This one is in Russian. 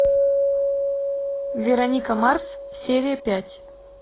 вероника марс серия пять